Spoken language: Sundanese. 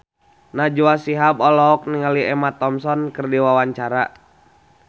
Najwa Shihab olohok ningali Emma Thompson keur diwawancara